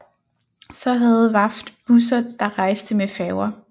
Så havde VAFT busser der rejste med Færger